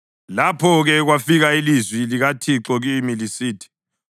Lapho-ke kwafika ilizwi likaThixo kimi lisithi: